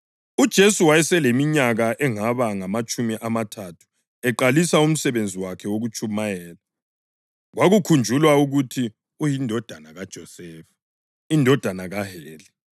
UJesu wayeseleminyaka engaba ngamatshumi amathathu eqalisa umsebenzi wakhe wokutshumayela. Kwakukhunjulwa ukuthi uyindodana kaJosefa, indodana kaHeli,